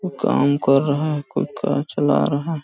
वो काम कर रहा है कोई कार चला रहा हैं ।